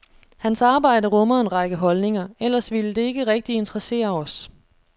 Hans arbejde rummer en række holdninger, ellers ville det ikke rigtig interessere os.